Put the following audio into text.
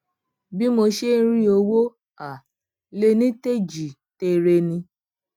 bí mo ṣe ń rí owó um lení tèjì tere ni